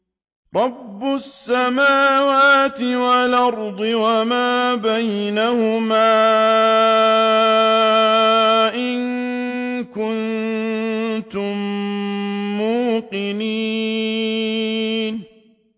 رَبِّ السَّمَاوَاتِ وَالْأَرْضِ وَمَا بَيْنَهُمَا ۖ إِن كُنتُم مُّوقِنِينَ